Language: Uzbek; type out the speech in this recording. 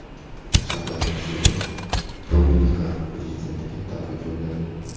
Shavkat Mirziyoyev Dominikan prezidentiga tabrik yo‘lladi.